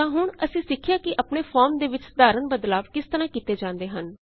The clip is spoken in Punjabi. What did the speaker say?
ਤਾਂ ਹੁਣ ਅਸੀਂ ਸਿਖਿਆ ਕਿ ਆਪਣੇ ਫੋਰਮ ਦੇ ਵਿੱਚ ਸਾਧਾਰਣ ਬਦਲਾਵ ਕਿਸ ਤਰਹ ਕੀਤੇ ਜਾਉਂਦੇ ਹਨ